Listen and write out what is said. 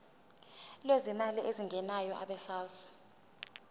lwezimali ezingenayo abesouth